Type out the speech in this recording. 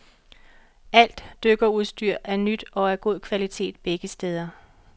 Alt dykkerudstyr er nyt og af god kvalitet begge steder.